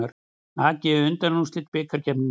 AG í undanúrslit bikarkeppninnar